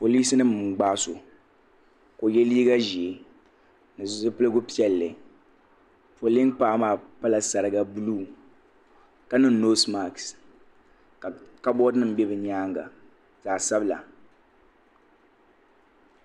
Polisi nima n gbaagi so ka o ye liiga ʒee ni zipiligu piɛlli polin'paɣa maa pala sariga buluu ka niŋ noosi maasi ka kaboori nima be bɛ nyaanga zaɣa sabira.